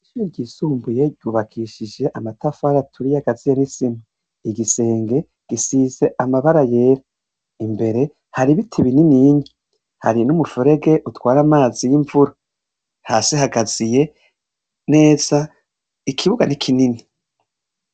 Ishure ryisumbuye ryubakishishije amafatari aturiye agaziye n'isima, igisenge gisize amabara yera, imbere hari ibiti bininiya hari n'umuferege utwara amazi y'imvura, hasi hagaziye neza ikibuga ni kinini.